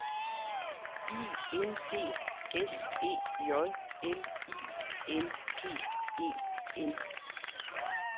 I N D S E J L I N G E N